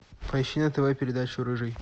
поищи на тв передачу рыжий